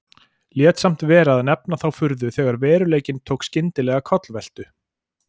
Lét samt vera að nefna þá furðu þegar veruleikinn tók skyndilega kollveltu.